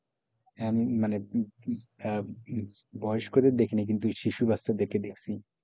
হ্যাঁ, মানে হম হম আহ বয়স্কদের দেখিনাই কিন্তু শিশু বাচ্চাদেরকে দেখছি,